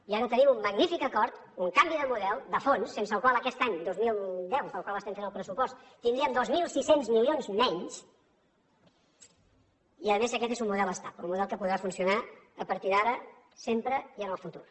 i ara tenim un magnífic acord un canvi de model de fons sense el qual aquest any dos mil deu per al qual estem fent el pressupost tindríem dos mil sis cents milions menys i a més aquest és un model estable un model que podrà funcionar a partir d’ara sempre i en el futur